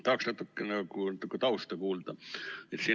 Tahaksin natuke tausta kuulda.